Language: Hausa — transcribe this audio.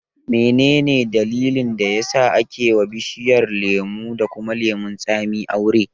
Menene dalilin da yasa ake wa bishiyar lemo da kuma lemon tsami aure?